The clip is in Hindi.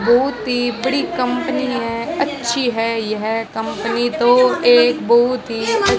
बहुत ही बड़ी कंपनी है अच्छी है यह कंपनी तो एक बउत ही अ--